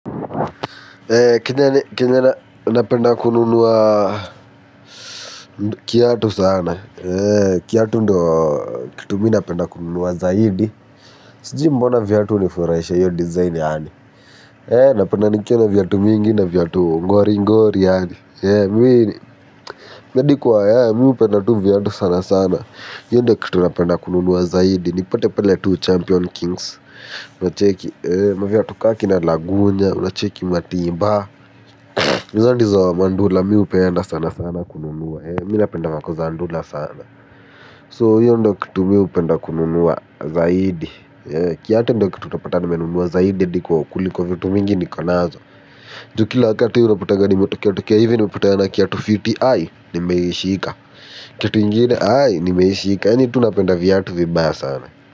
Kenye na napenda kununua kiatu sana. Kitu mi napenda kununua zaidi. Sijui mbona viatu hunifurahisha hiyo design yaani. Napenda nikiwa na viatu mingi, na viatu ngori ngori yaani. Sipendi kuwa, mi hupenda tu viatu sana sana. Hiyo ndo kitu napenda kununua zaidi. Nipate pale tu champion kings. Unacheki maviatu ka kina lagunya, unacheki matimba. Hizo ndizo mandula mi hupenda sana sana kununua. Mimi napenda vako za ndula sana. So hiyo ndo kitu mi hupenda kununua zaidi. Kiatu ndo kitu utapata nimenunua zaidi kuliko vitu mingi niko nazo. Ju kila wakati unapatanga nimetokea tokea hivi. Nimepatana kiatu fiti ai nimeishika. Kiatu ingine ai nimeishika. Yaani tu napenda viatu vibaya sana.